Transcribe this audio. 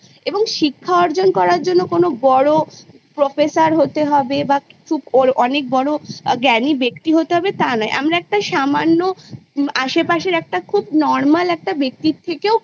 এবং শিক্ষা অর্জন করার জন্য কোনো বড়ো Professor হতে হবে বা খুব অনেক বড়ো ব্যক্তি হয়ে হবে তা নয় আমরা একটা সামান্য আশেপাশের একটা খুব Normal একটা ব্যক্তির থেকেও